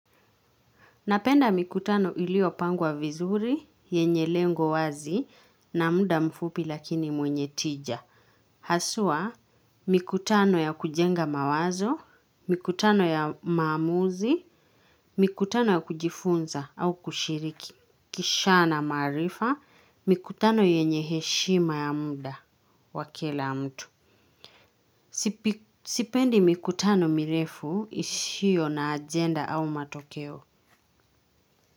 Napenda mikutano iliopangwa vizuri, yenye lengo wazi, na muda mfupi lakini mwenye tija. Haswa mikutano ya kujenga mawazo, mikutano ya maamuzi, mikutano ya kujifunza au kushiriki. Kisha na maarifa, mikutano yenye heshima ya muda wa kila mtu. Sipendi mikutano mirefu ishio na ajenda au matokeo.